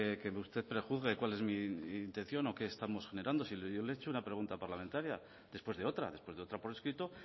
que usted prejuzgue cuál es mi intención o qué estamos generando si yo le he hecho una pregunta parlamentaria después de otra después de otra por escrito